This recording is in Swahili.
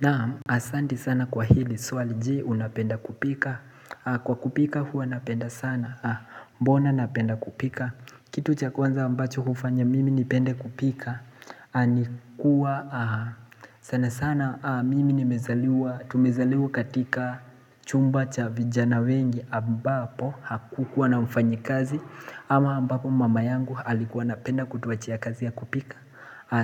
Naam asanti sana kwa hili swali.je unapenda kupika Kwa kupika huwa napenda sana Mbona napenda kupika Kitu cha kwanza ambacho hufanya mimi nipende kupika ni kuwa sana sana mimi nimezaliwa Tumezaliwa katika chumba cha vijana wengi ambapo Hakukuwa na mfanyikazi ama ambapo mama yangu alikuwa anapenda kutuachia kazi ya kupika